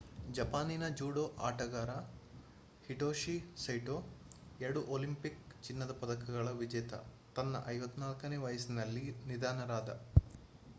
ಜಪಾನಿನ ಜೂಡೋ ಆಟಗಾರ Hitoshi Saito ಎರಡು ಒಲಿಂಪಿಕ್ ಚಿನ್ನದ ಪದಕಗಳ ವಿಜೇತ ತನ್ನ 54ನೇ ವಯಸ್ಸಿನಲ್ಲಿ ನಿಧನನಾದ